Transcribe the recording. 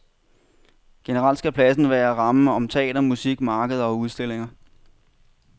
Generelt skal pladsen kunne være rammen om teater, musik, markeder og udstillinger.